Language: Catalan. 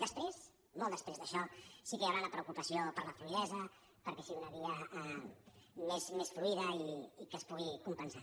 després molt després d’això sí que hi hau·rà la preocupació per la fluïdesa perquè sigui una via més fluida i que es pugui compensar